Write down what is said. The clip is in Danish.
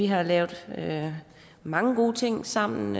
har lavet mange gode ting sammen